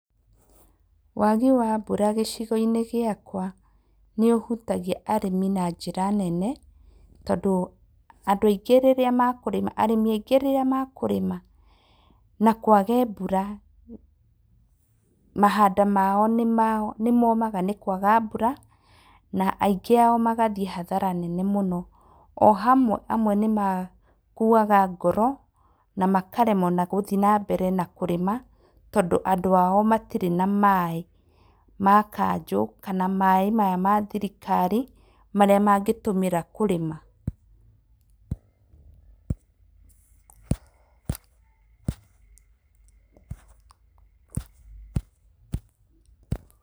Wagi wa mbura gĩcigo-inĩ gĩakwa nĩ ũhutagia arĩmi na njĩra nene tondũ andũ aingĩ rĩrĩa mekũrĩma, arĩmi aingĩ rĩrĩa mekũrĩma na kwage mbura, mahanda mao nĩ momaga nĩ kwaga na ingĩ ao magathiĩ hathara nene mũno, amwe nĩ makuaga ngoro na makaremwo gũthiĩ na mbere na kũrĩma, tondũ andũ ao matirĩ na maĩ ma Kanjo kana maĩ maya ma thirikari marĩa mangĩtũmĩra kũrĩma.